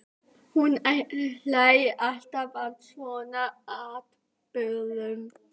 Hún hlær alltaf að svona atburðum.